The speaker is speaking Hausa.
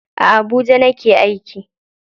A Abuja nake aiki.